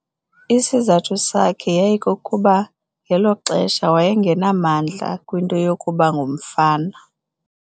Isizathu sakhe yayikukuba ngelo xesha waye ngenamdla kwinto yokuba ngumfana.